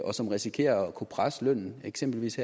og som risikerer at kunne presse lønnen eksempelvis